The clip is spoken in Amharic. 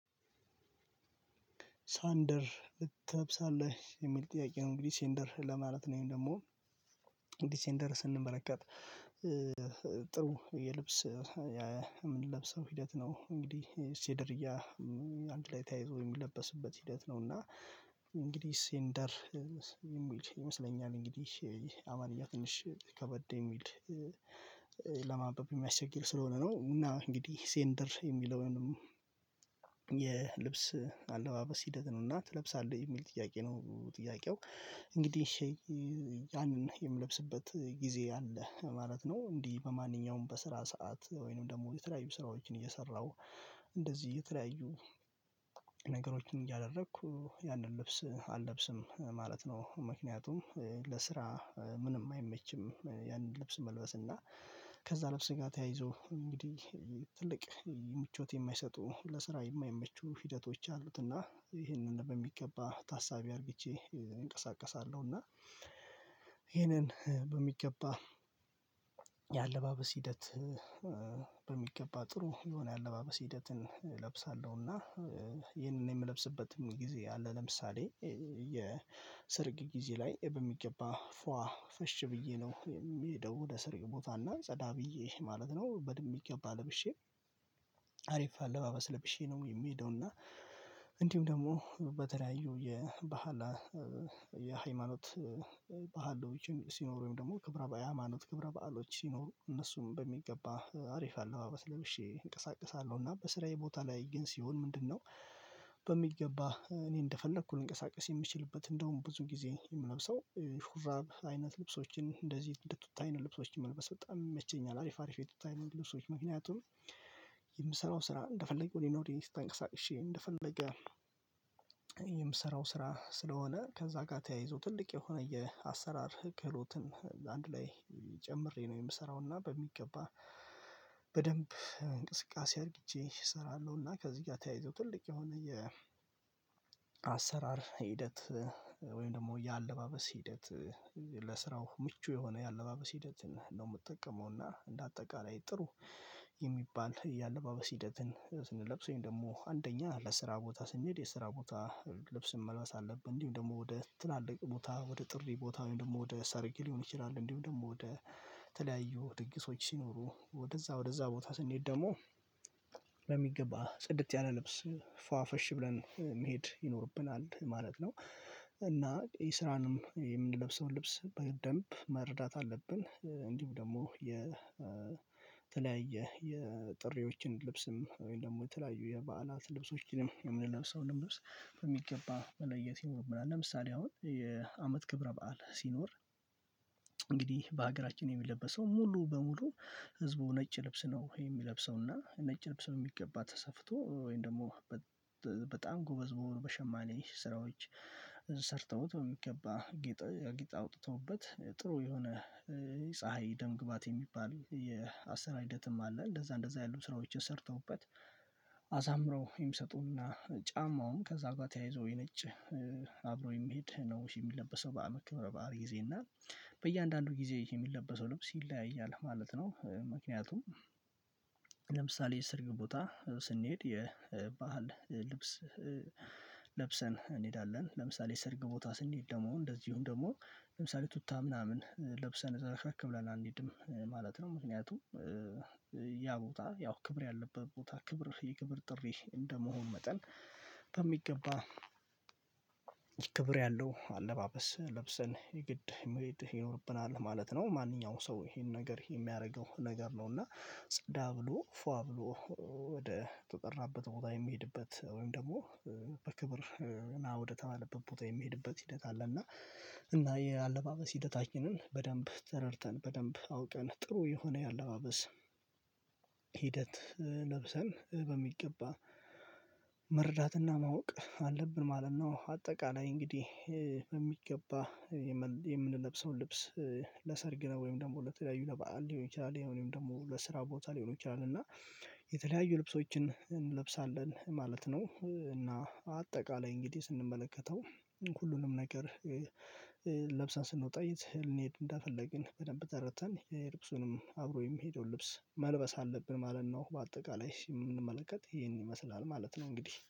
ሳንደር ትለብሳለህ የሚል ጥያቄ ነው። እንግዲህ ሴንደር ለማለት ነው ወይም ደግሞ እንዲህ ሴንደር ስንመለከት ጥሩ የልብስ የምንለብሰው ሂደት ነው። እንግዲህ ሴደርያ አንድ ላይ ተያይዞ የሚለበስበት ሂደት ነው። እና እንግዲህ ሴንደር የሚል ይመስለኛል እንግዲህ አማርኛ ትንሽ ከበደ የሚል ለማንበብ የሚያስቸግር ስለሆነ ነው። እና እንግዲህ ሴንደር የሚለውንም የልብስ አለባበስ ሂደት ነው። እና ትለብሳለህ የሚል ጥያቄ ነው። ጥያቄው እንግዲህ ያንን የምለብስበት ጊዜ አለ ማለት ነው። እንዲህ በማንኛውም በስራ ሰዓት ወይንም ደግሞ የተለያዩ ስራዎችን እየሰራሁ እንደዚህ የተለያዩ ነገሮችን እያደረኩ ያንን ልብስ አለብስም ማለት ነው። ምክንያቱም ለስራ ምንም አይመችም ያንን ልብስ መልበስ እና ከዛ ለብስ ጋር ተያይዞ እንግዲህ ትልቅ ምቾት የማይሰጡ ለስራ የማይመቹ ሂደቶች አሉትና ይሄንን በሚገባ ታሳቢ አርግቼ እንቀሳቀሳለሁና። ይሄንን በሚገባ የአለባበስ ሂደት በሚገባ ጥሩ የሆነ የአለባበስ ሂደትን እለብሳለሁ። እና ይህንን የምለብስበትም ጊዜ አለ። ለምሳሌ የስርግ ጊዜ ላይ በሚገባ ፏ ፈሽ ብዬ ነው የሚሄደው ወደ ሰርግ ቦታ እና ጸዳ ብዬ ማለት ነው በሚገባ ለብሼ አሪፍ አለባበስ ለብሼ ነው የሚሄደው። እና እንዲሁም ደግሞ በተለያዩ የባህላ የሃይማኖት ባህሎችም ሲኖሩ ወይም ደግሞ ክብረ ሃይማኖት ክብረ በዓሎች ሲኖሩ እነሱን በሚገባ አሪፍ አለባበስ ለብሼ እንቀሳቅሳለሁ። እና በስራዬ ቦታ ላይ ግን ሲሆን ምንድነው? በሚገባ እኔ እንደፈለኩ ልንቀሳቀስ የምችልበት እንደውም ብዙ ጊዜ የምነብሰው ሹራብ አይነት ልብሶችን እንደዚህ እንደ ቱታ አይነት ልብሶችን መልበስ በጣም ይመቸኛል። አሪፍ አሪፍ የቱታ አይነት ልብሶች ምክንያቱም የምሰራው ስራ እንደፈለኩ ወዲና ወዲ ተንቀሳቅሼ እንደፈለገ የምሰራው ስራ ስለሆነ ከዛ ጋር ተያይዞ ትልቅ የሆነ የአሰራር ክህሎትን አንድ ላይ ጨምሬ ነው የምሰራው። እና በሚገባ በደንብ እንቅስቃሴ አድርግቼ እሰራለሁና። ከዚህ ጋር ተያይዞ ትልቅ የሆነ የ አሰራር ሂደት ደግሞ የአለባበስ ሂደት ለስራው ምቹ የሆነ የአለባበስ ሂደትን ነው ምጠቀመውና። እንደ አጠቃላይ ጥሩ የሚባል የአለባበስ ሂደትን ስንለብስ ወይም ደግሞ አንደኛ ለስራ ቦታ ስንሄድ የስራ ቦታ ልብስ መልበስ አለብን። እንዲሁም ደግሞ ወደ ትላልቅ ቦታ ወደ ጥሪ ቦታ ወይም ደግሞ ወደ ሰርግ ሊሆን ይችላል። እንዲሁም ደግሞ ወደ ተለያዩ ድግሶች ሲኖሩ ወደዛ ወደዛ ቦታ ስንሄድ ደግሞ ጽድት ያለ ልብስ ፏ ፈሽ ብለን መሄድ ይኖርብናል ማለት ነው። እና የስራንም የምንለብሰውን ልብስ በደንብ መረዳት አለብን እንዲሁ ደግሞ የተለያየ የጥሪዎችን ልብስም ወይም ደግሞ የተለያዩ የበዓላት ልብሶችንም የምንለብሰውንም ልብስ በሚገባ መለየት ይኖርብናል። ለምሳሌ አሁን የአመት ክብረ በዓል ሲኖር በሀገራችን የሚለበሰው ሙሉ በሙሉ ህዝቡ ነጭ ልብስ ነው የሚለብሰው እና ነጭ ልብስ በሚገባ ተሰፍቶ ወይም ደግሞ በጣም ጎበዝ በሆኑ በሸማኔ ስራዎች ሰርተውት በሚገባ ጌጥ አውጥተውበት ጥሩ የሆነ ፀሀይ ደም ግባት የሚባል የአሰራር ሂደትም አለ። እንደዛ እንደዛ ያሉ ስራዎችን ሰርተውበት አሳምረው የሚሰጡና ጫማውም ከዛ ጋር ተያይዞ የነጭ አብሮ የሚሄድ ነው የሚለበሰው በአመት ክብረ በዓል ጊዜ እና በእያንዳንዱ ጊዜ የሚለበሰው ልብስ ይለያያል ማለት ነው። ምክንያቱም ለምሳሌ ሰርግ ቦታ ስንሄድ የባህል ልብስ ለብሰን እንሄዳለን። ለምሳሌ ስርግ ቦታ ስንሄድ ደግሞ እንደዚሁም ደግሞ ለምሳሌ ቱታ ምናምን ለብሰን ዘረክረክ ብለን አንሄድም ማለት ነው። ምክንያቱም ያ ቦታ ያው ክብር ያለበት ቦታ ክብር የክብር ጥሪ እንደመሆን መጠን በሚገባ ክብር ያለው አለባበስ ለብሰን የግድ መሄድ ይኖርብናል ማለት ነው። ማንኛውም ሰው ይሄን ነገር የሚያደርገው ነገር ነው እና ጸዳ ብሎ ፏ ብሎ ወደ ተጠራበት ቦታ የሚሄድበት ወይም ደግሞ በክብር ና ወደ ተባለበት ቦታ የሚሄድበት ሂደት አለ። እና እና የአለባበስ ሂደታችንን በደንብ ተረድተን በደንብ አውቀን ጥሩ የሆነ የአለባበስ ሂደት ለብሰን በሚገባ መረዳትና ማወቅ አለብን ማለት ነው። አጠቃላይ እንግዲህ በሚገባ የምንለብሰውን ልብስ ለሰርግ ነው ወይም ደግሞ ለተለያዩ ለባዓል ሊሆን ይችላል ወይም ደግሞ ለስራ ቦታ ሊሆን ይችላል እና የተለያዩ ልብሶችን እንለብሳለን ማለት ነው። እና አጠቃላይ እንግዲህ ስንመለከተው ሁሉንም ነገር ለብሰን ስንወጣ የት ልንሄድ እንደፈልግን በደንብ ተረድተን የልብሱንም አብሮ የሚሄደውን ልብስ መልበስ አለብን ማለት ነው። በአጠቃላይ የምንመለከት ይሄን ይመስላል ማለት ነው። እንግዲህ